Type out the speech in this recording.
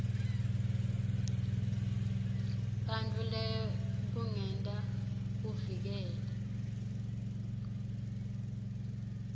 bantfu lekungenta uvikele